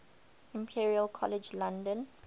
imperial college london